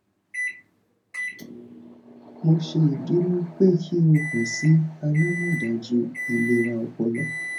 mo ṣeduro pe ki o kan si alamọdaju ilera ọpọlọ